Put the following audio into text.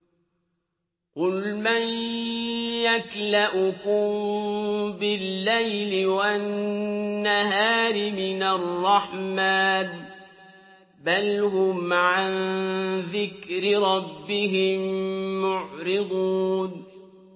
قُلْ مَن يَكْلَؤُكُم بِاللَّيْلِ وَالنَّهَارِ مِنَ الرَّحْمَٰنِ ۗ بَلْ هُمْ عَن ذِكْرِ رَبِّهِم مُّعْرِضُونَ